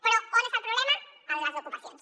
però on està el problema en les ocupacions